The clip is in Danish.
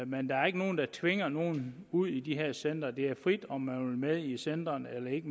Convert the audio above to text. men der er ikke nogen der tvinger nogen ud i de her centre det er frit om man med i centrene eller ikke